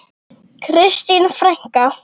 Kristín frænka.